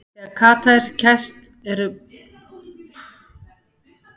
Þegar skata er kæst eru börðin skorin af henni en öðrum hlutum fisksins hent.